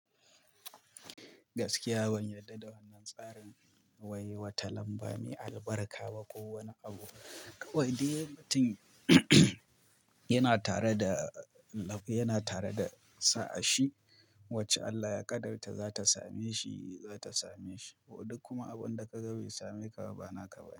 Gaskiya ban yarda da wannan tsarin ba wai wata lambar mai albarka ba kowani abu. Kai wai mutunlm yana tare da lafiya, yana tare da sa'a shi wacce Allah ya ƙadarta za ta same shi, za ta same shi. Ko duk kuma abun da ka ga bai same ka ba, bana ka bani.